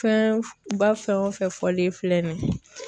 Fɛn ba fɛn o fɛn fɔlen filɛ nin ye